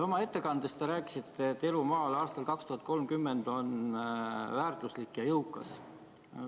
Oma ettekandes te rääkisite, et elu maal aastal 2030 on palju väärt ja jõukas.